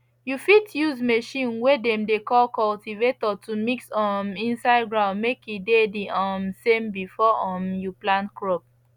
you fit use machine way dem dey call cultivator to mix um inside ground make e dey the um same before um you plant crop